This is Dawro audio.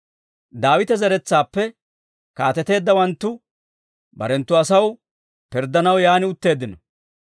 Daawita zeretsaappe kaateteeddawanttu barenttu asaw pirddanaw yaan utteeddino.